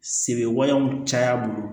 Sebe waleyaw caya bolo